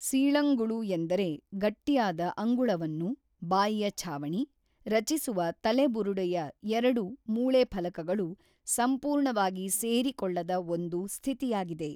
ಸೀಳಂಗುಳು ಎಂದರೆ ಗಟ್ಟಿಯಾದ ಅಂಗುಳುವನ್ನು (ಬಾಯಿಯ ಛಾವಣಿ) ರಚಿಸುವ ತಲೆಬುರುಡೆಯ ಎರಡು ಮೂಳೆಫಲಕಗಳು ಸಂಪೂರ್ಣವಾಗಿ ಸೇರಿಕೊಳ್ಳದ ಒಂದು ಸ್ಥಿತಿಯಾಗಿದೆ.